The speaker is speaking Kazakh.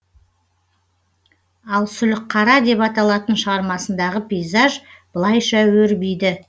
ал сүлікққара деп аталатын шығармасындағы пейзаж былайша өрбиді